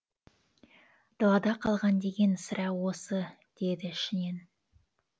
далада қалған деген сірә осы деді ішінен